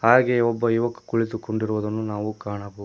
ಹಾಗೆ ಒಬ್ಬ ಯುವಕ ಕುಳಿತುಕೊಂಡಿರುವುದನ್ನು ನಾವು ಕಾಣಬಹುದು.